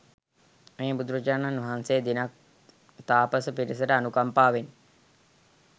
මේ බුදුරජාණන් වහන්සේ දිනක් තාපස පිරිසට අනුකම්පාවෙන්